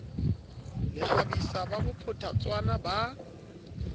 le kgabisa ka bophatshwana ba